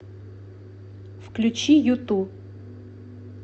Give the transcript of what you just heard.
включи юту